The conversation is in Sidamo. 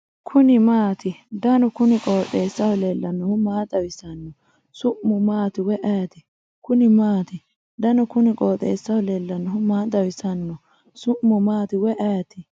kuni maati ? danu kuni qooxeessaho leellannohu maa xawisanno su'mu maati woy ayeti ? kuni maati ? danu kuni qooxeessaho leellannohu maa xawisanno su'mu maati woy ayeti ?